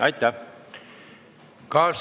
Aitäh!